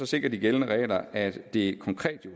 sikrer de gældende regler at det jo